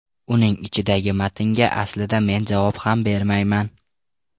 Uning ichidagi matnga aslida men javob ham bermayman.